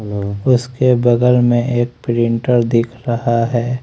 उसके बगल में एक प्रिंटर दिख रहा है।